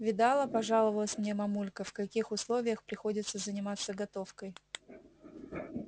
видала пожаловалась мне мамулька в каких условиях приходится заниматься готовкой